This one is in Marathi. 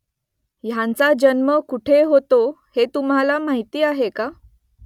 ह्यांचा जन्म कुठे होतो हे तुम्हाला माहिती आहे का ?